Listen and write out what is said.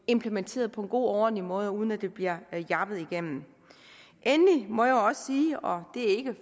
implementeret på en god og ordentlig måde uden at det bliver jappet igennem endelig må jeg jo også sige og det er ikke